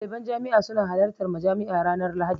Daliban jami'a suna halartar majami'a ranar lahadi